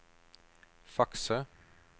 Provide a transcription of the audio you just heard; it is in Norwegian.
fakser